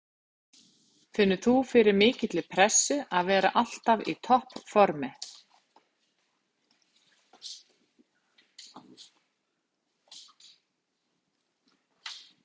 Finnur þú fyrir mikilli pressu að vera alltaf í toppformi?